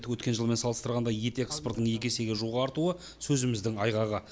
өткен жылмен салыстырғанда ет экспортының екі есеге жуық артуы сөзіміздің айғағы